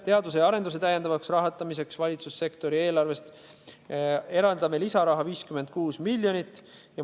Teadus- ja arendustegevuse rahastamiseks valitsussektori eelarvest eraldame lisaraha 56 miljonit eurot.